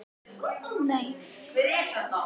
Miðjumenn: Eggert Gunnþór Jónsson og Emil Hallfreðsson